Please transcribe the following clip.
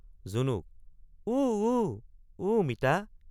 জুনুক—উ—উ—উ মিতা।